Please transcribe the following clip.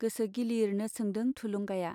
गोसो गिलिरनो सोंदों थुलुंगाया।